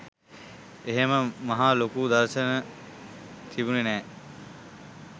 එහෙම මහා ලොකු දර්ශන තිබුණේ නෑ.